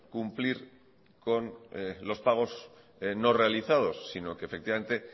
cumplir con los pagos no realizados sino que efectivamente